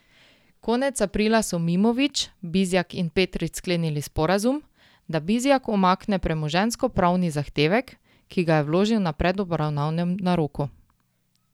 Konec aprila so Mimović, Bizjak in Petrič sklenili sporazum, da Bizjak umakne premoženjskopravni zahtevek, ki ga je vložil na predobravnavnem naroku.